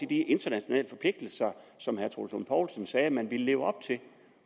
de internationale forpligtelser som herre troels lund poulsen sagde man ville leve op til